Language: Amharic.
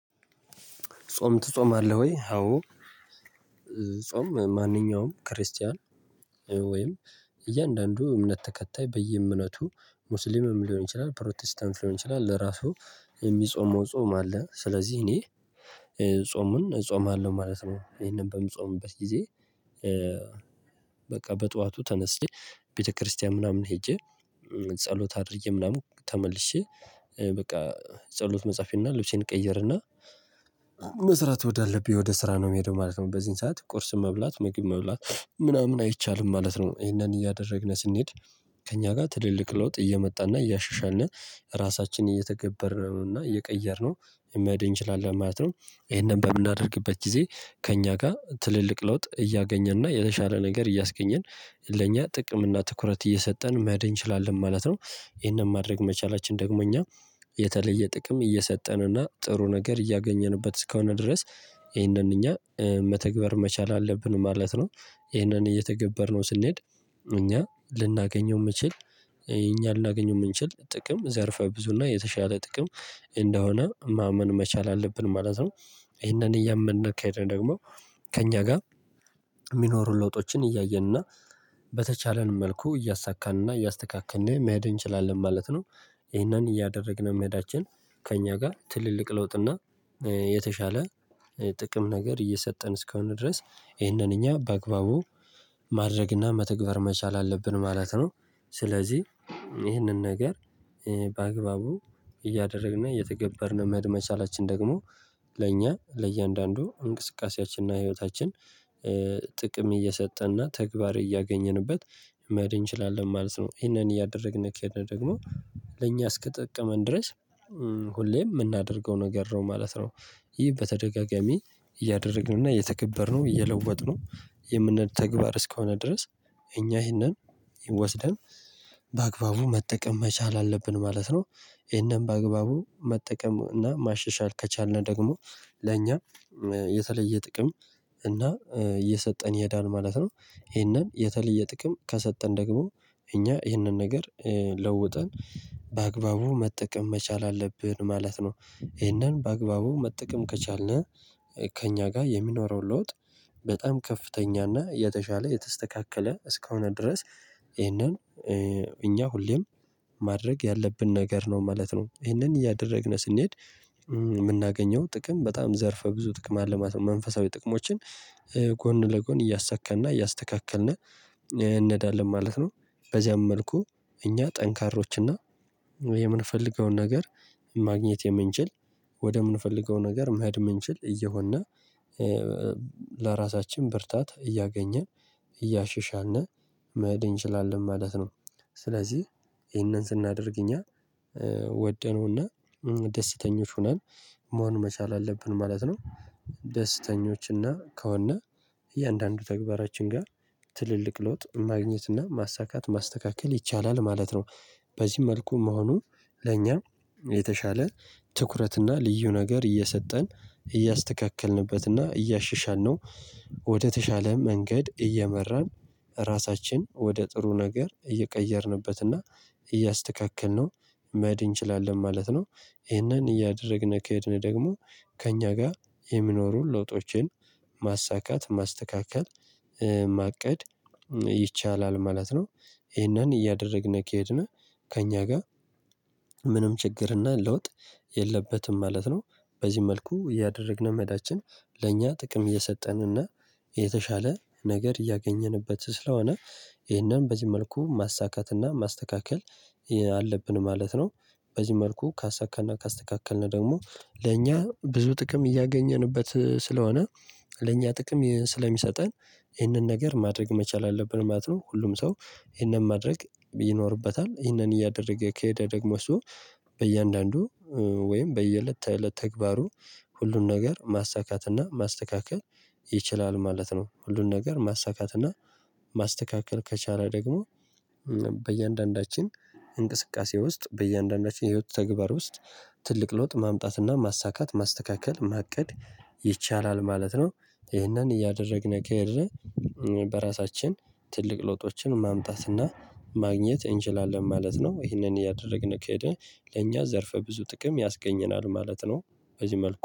ጾም ትጾማለህ ወይ? አዎ። ጾም ማንኛውም ክርስቲያን ወይም እያንዳንዱ እምነት ተከታይ በየእምነቱ ሙስሊምም ሊሆን ይችላል ፕሮቴስታንት ሊሆን ይችላል ለራሱ የሚጾመው ጾም አለ። ስለዚህ እኔ ጾሙን እጾማለሁ ማለት ነው። ይሄንን በሚጾምበት ጊዜ። በቃ በጧቱ ተነስቼ ቤተክርስቲያን ምናምን ሄጄ ጸሎት አድርጌ ምናምን ተመልሼ በቃ ጸሎት መጻፌንና ልብሴን ቀየረና መስራት ወዳለብኝ ወደ ስራ ነው የሚሄደው ማለት ነው። በዚህን ሰዓት ቁርስ መብላት ምግብ መብላት ምናምን አይቻልም ማለት ነው። ይሄንን እያደረግን ስንሄድ ከእኛ ጋር ትልልቅ ለውጥ እየመጣና እያሻሻን ራሳችንን እየተገበርነውና እና እየቀየርነው የሚሄድ እንችላለን ማለት ነው። ይሄንን በምናደርግበት ጊዜ ከእኛ ጋር ትልልቅ ለውጥ እያገኘንና የተሻለ ነገር እያስገኘን ለእኛ ጥቅም እና ትኩረት እየሰጠን መሄድ እንችላለን ማለት ነው። ይሄንን ማድረግ መቻላችን ደግሞ እኛ የተለየ ጥቅም እየሰጠን እና ጥሩ ነገር እያገኘንበት እስከሆነ ድረስ። ይሄንን እኛ መተግበር መቻል አለብን ማለት ነው። ይሄንን እየተገበርነው ስንሄድ እኛ ልናገኘው የምንችል እኛ ልናገኘው የምንችል ጥቅም ዘርፈ ብዙ እና የተሻለ ጥቅም እንደሆነ ማመን መቻል አለብን ማለት ነው። ይሄንን እያመነ ካሄደ ደግሞ ከእኛ ጋር የሚኖሩ ለውጦችን እያየንና በተቻለን መልኩ እያሳካንና እያስተካከንን መሄድ እንችላለን ማለት ነው። ይሄንን እያደረግን መሄዳችን ከእኛ ጋር ትልልቅ ለውጥ እና የተሻለ ጥቅም ነገር እየሰጠን እስከሆነ ድረስ ይሄንን እኛ በአግባቡ ማድረግና መተግበር መቻል አለብን ማለት ነው። ስለዚህ ይህንን ነገር በአግባቡ እያደረግን እየተገበርን መሄድ መቻላችን ደግሞ ለእኛ ለእያንዳንዱ እንቅስቃሴያችንና ህይወታችን ጥቅም እየሰጠንና ተግባር እያገኘንበት መደን እንችላለን ማለት ነው። ይሄንን እያደረግን እንኬድን ደግሞ ለእኛ እስክትጠቅመን ድረስ ሁሌም የምናደርገው ነገር ነው ማለት ነው። ይህ በተደጋጋሚ እያደረግንና እየተከበርነው እየለወጥነው የምንተግባር እስከሆነ ድረስ። እኛ ይህንን ወስደን በአግባቡ መጠቀም መቻል አለብን ማለት ነው። ይህንን በአግባቡ መጠቀም እና ማሸሻል ከቻልን ደግሞ ለእኛ የተለየ ጥቅም እና እየሰጠን የሄዳን ማለት ነው። ይሄንን የተለየ ጥቅም ከሰጠን ደግሞ እኛ ይሄንን ነገር ለውጠን በአግባቡ መጠቀም መቻል አለብን ማለት ነው። ይሄንን በአግባቡ መጠቀም ከቻልን ከእኛ ጋር የሚኖረው ለውጥ በጣም ከፍተኛና የተሻለ የተስተካከለ እስከሆነ ድረስ። ይሄንን እኛ ሁሌም ማድረግ ያለብን ነገር ነው ማለት ነው። ይሄንን እያደረግን ስንሄድ የምናገኘው ጥቅም በጣም ዘርፈ ብዙ ጥቅም አለማት መንፈሳዊ ጥቅሞችን ጎን ለጎን እያሳከልና እያስተካከልን እንነዳለን ማለት ነው። በዚያም መልኩ እኛ ጠንካሮችና የምንፈልገውን ነገር ማግኘት የምንችል ወደምንፈልገው ነገር መህድ የምንችል እየሆንና ለራሳችን ብርታት እያገኘን እያሸሻን መሄድ ይችላል ማለት ነው። ስለዚህ ይሄንን ስናደርግ እኛ ወደኑና ደስተኞች ሆነን መሆን መቻል አለብን ማለት ነው። ደስተኞች እና ከሆነ እያንዳንዱ ተግባራችን ጋር ትልልቅ ለውጥ ማግኘት እና ማሳካት ማስተካከል ይቻላል ማለት ነው። በዚህ መልኩ መሆኑ ለኛ የተሻለ ትኩረትና ልዩ ነገር እየሰጠን እያስተካከልንበትና እያሽሻልነው ወደተሻለ መንገድ እየመራን ራሳችን ወደ ጥሩ ነገር እየቀየርንበትና እያስተካከልነው መሄድ እንችላለን ማለት ነው። ይሄንን እያደረግን ከሄድን ደግሞ ከእኛ ጋር የሚኖሩን ለውጦችን ማሳካት ማስተካከል ማቀድ ይቻላል ማለት ነው። ይሄንን እያደረግን ከሄድን ከእኛ ጋር ምንም ችግርና ለውጥ የለበትም ማለት ነው። በዚህ መልኩ እያደረግን መዳችን ለእኛ ጥቅም እየሰጠንንና የተሻለ ነገር እያገኘንበት ስለሆነ ይህንን በዚህ መልኩ ማሳካትና ማስተካከል አለብን ማለት ነው። በዚህ መልኩ ካሳካና ካስተካከልን ደግሞ ለእኛ ብዙ ጥቅም እያገኘንበት ስለሆነ ለእኛ ጥቅም ስለሚሰጠን ይህንን ነገር ማድረግ መቻል አለብን ማለት ነው። ሁሉም ሰው ይህንን ማድረግ ይኖርበታል። ይህንን እያደረገ ከሄደ ደግሞ ሰው በእያንዳንዱ ወይም በየእለት ተእለት ተግባሩ ሁሉን ነገር ማሳካትና ማስተካከል ይችላል ማለት ነው። ሁሉን ነገር ማሳካትና ማስተካከል ከቻለ ደግሞ በእያንዳንዳችን እንቅስቃሴ ውስጥ በእያንዳንዳችን የህይወት ተግባር ውስጥ ትልቅ ለውጥ ማምጣትና ማሳካት ማስተካከል ማቀድ ይቻላል ማለት ነው። ይህንን እያደረግን ከሄድን በራሳችን ትልቅ ለውጦችን ማምጣትና ማግኘት እንችላለን ማለት ነው። ይሄንን እያደረግን ከሄደ ለኛ ዘርፈ ብዙ ጥቅም ያስገኘናል ማለት ነው። እዚህ መልኩ